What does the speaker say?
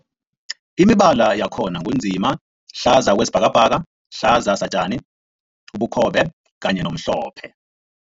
Imibala yakhona ngu nzima, hlaza okwesibhakabhaka, hlaza satjani, ubukhobe kanye nomhlophe.